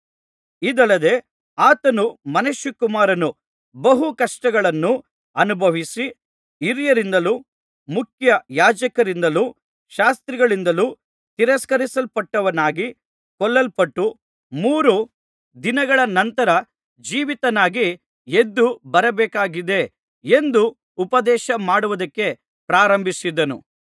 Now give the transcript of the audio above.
ಇದಲ್ಲದೆ ಆತನು ಮನುಷ್ಯಕುಮಾರನು ಬಹು ಕಷ್ಟಗಳನ್ನು ಅನುಭವಿಸಿ ಹಿರಿಯರಿಂದಲೂ ಮುಖ್ಯಯಾಜಕರಿಂದಲೂ ಶಾಸ್ತ್ರಿಗಳಿಂದಲೂ ತಿರಸ್ಕರಿಸಲ್ಪಟ್ಟವನಾಗಿ ಕೊಲ್ಲಲ್ಪಟ್ಟು ಮೂರು ದಿನಗಳ ನಂತರ ಜೀವಿತನಾಗಿ ಎದ್ದು ಬರಬೇಕಾಗಿದೆ ಎಂದು ಉಪದೇಶಮಾಡುವುದಕ್ಕೆ ಪ್ರಾರಂಭಿಸಿದನು